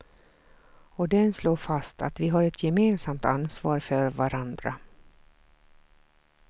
Och den slår fast att vi har ett gemensamt ansvar för varandra.